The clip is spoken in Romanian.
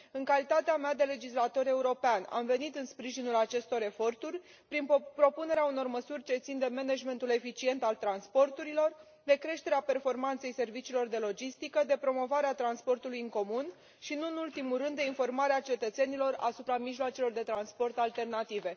În calitatea mea de legislator european am venit în sprijinul acestor eforturi prin propunerea unor măsuri ce țin de managementul eficient al transporturilor de creșterea performanței serviciilor de logistică de promovarea transportului în comun și, nu în ultimul rând, de informarea cetățenilor asupra mijloacelor de transport alternative.